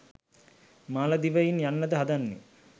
මාලදිවයින් යන්නද හදන්නේ?